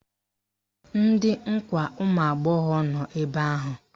Ndị nkwa ụmụagbọghọ nọ ebe ahụ!